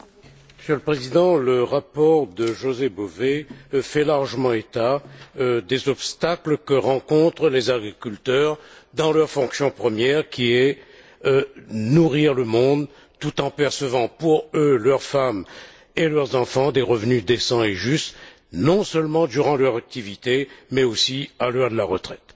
Monsieur le Président, le rapport de José Bové fait largement état des obstacles que rencontrent les agriculteurs dans leur fonction première, qui est de nourrir le monde tout en percevant pour eux mêmes, pour leurs femmes et pour leurs enfants des revenus décents et justes, non seulement durant leur activité, mais aussi à l'heure de la retraite.